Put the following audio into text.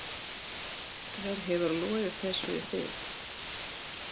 Hver hefur logið þessu í þig?